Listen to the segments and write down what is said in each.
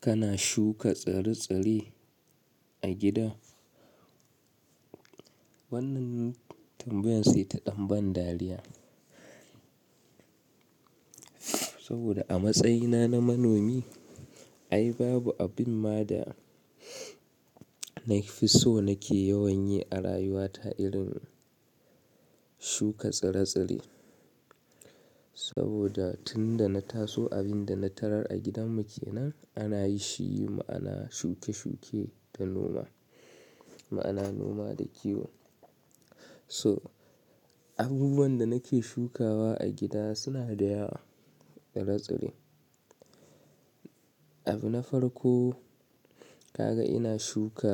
Kana shuka tsire-tsire a gida? Wannan tambayan sai ta ɗan ban dariya. Saboda a matsayina na manomi, ai babu abin ma da na fi so nake yawon yi a rayuwa ta irin shuka tsire-tsire. Saboda tun da na taso abin da na tarar a gidan mu ke nan ana yi shi ma'ana shuke-shuke da noma. Ma'ana noma da kiwo. So abubuwan da nake shukawa a gida suna da yawa, tsire-tsire. Abi na farko ka ga ina shuka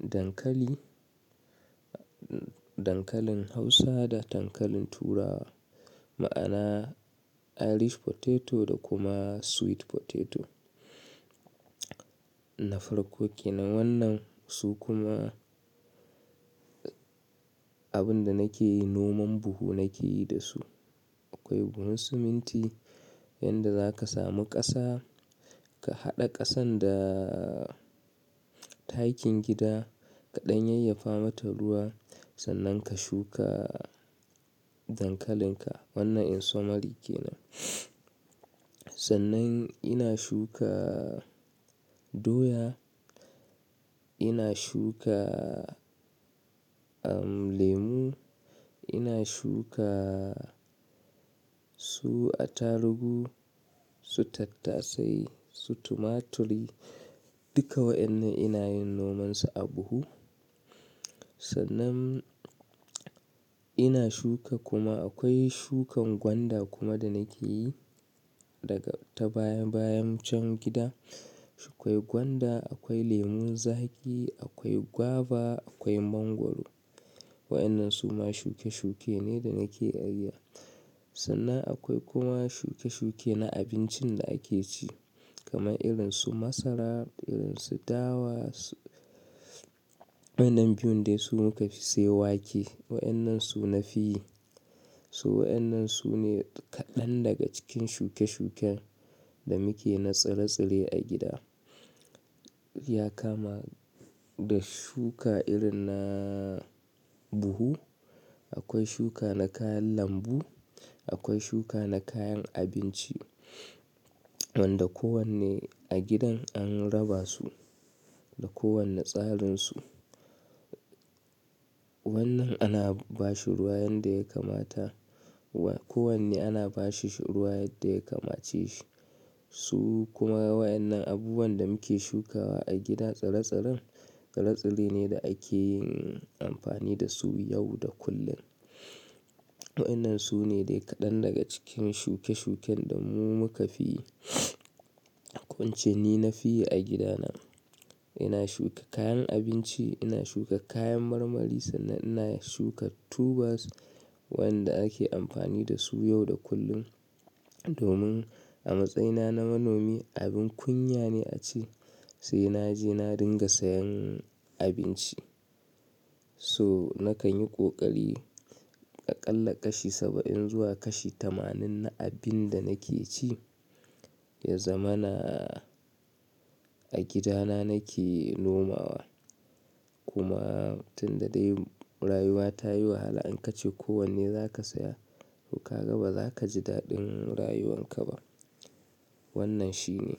dankali, dankalin Hausa da dankalin turawa ma'ana Irish potato da kuma sweet potato. Na farko ke nan wannan su kuma abun da nake yi noman buhu nake yi da su. Akwai buhun siminti yanda zaka samu ƙasa ka haɗa ƙasan da takin gida kaɗan yayyafa mata ruwa sannan ka shuka dankalin ka. Wannan in summary ke nan. Sannan ina shuka doya, ina shuka, um, lemu, ina shuka su atarugu, su tattasai, su tumaturi duka wayannan ina yin noman su a buhu. Sannan ina shuka kuma akwai shukan gwanda kuma da nake yi daga ta bayan bayan can gida. Akwai gwanda, akwai lemun zaki, akwai gwaba, akwai mangwaro. Wayannan su ma shuke-shuke ne da nake aiya. Sannan akwai kuma shuke-shuke na abincin da ake ci kamar irin su masara, irin su dawa. Wayannan biyun dai su muka fi sai wake. Wayannan su na fi yi. So wa'annan su ne kaɗan daga cikin shuke-shuken da muke na tsire-tsire a gida. Ya kama da shuka irin na buhu. Akwai shuka na kayan lambu, akwai shuka na kayan abinci wanda kowanne a gidan an raba su da kowanne tsarinsu. Wannan ana ba shi ruwa yanda ya kamata wa-- kowanne ana ba shi ruwa yadda ya kamace shi. Su kuma wayannan abubuwan da muke shukawa a gida tsire-tsiren da tsire-tsire ne da ake yin amfani da su yau da kullum. Wayannan su ne dai kaɗan daga cikin shuke-shuken da mu muka fi yi. Ko in ce ni na fi yi a gida na. Ina shuka kayan abinci, ina shuka kayan marmari sannan ina shuka tubers waɗanda ake amfani da su yau da kullum. Domin a matsayina na manomi abin kunya ne a ce sai na je na dinga sayan abinci. So nakan yi ƙoƙari a ƙalla ƙashi saba'in zuwa ƙashi tamanin na abin da nake ci ya zama na a gida na nake nomawa. Kuma tun da dai rayuwa ta yi wahala in ka ce kowanne za ka saya to kaga ba za ka ji daɗin rayuwan ka ba. Wannan shi ne.